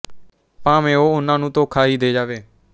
ਭਾਵੇਂ ਉਹ ਉਨ੍ਹਾਂ ਨੂੰ ਧੋਖਾ ਹੀ ਦੇ ਜਾਵੇ